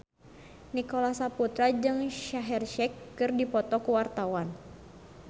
Nicholas Saputra jeung Shaheer Sheikh keur dipoto ku wartawan